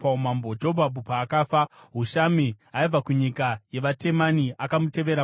Jobhabhi paakafa, Hushami aibva kunyika yevaTemani akamutevera paumambo.